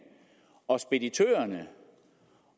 og speditørerne